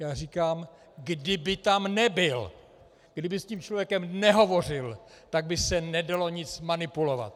Já říkám, kdyby tam nebyl, kdyby s tím člověkem nehovořil, tak by se nedalo nic manipulovat.